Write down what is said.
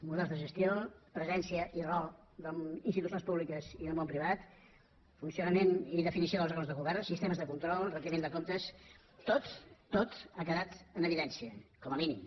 models de gestió presència i rol d’institucions públiques i del món privat funcionament i definició dels òrgans de govern sistemes de control rendició de comptes tot tot ha quedat en evidència com a mínim